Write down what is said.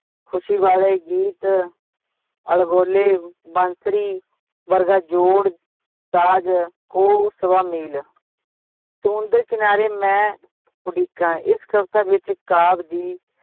ਖੁਸ਼ੀ ਵਾਲੇ ਗੀਤ ਅਲਗੋਲੇ ਬੰਸੂਰੀਂ ਵਰਗਾ ਜੋੜ ਤਾਜ, ਕਹੁ ਸਵਾ-ਮੀਲ ਸਮੁੰਦਰ ਕਿਨਾਰੇ ਮੈਂ ਉਡੀਕਾਂ ਇਸ ਕਵਿਤਾ ਵਿਚ ਕਾਵ ਦੀ